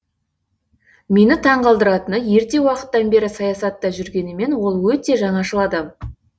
мені таңғалдыратыны ерте уақыттан бері саясатта жүргенімен ол өте жаңашыл адам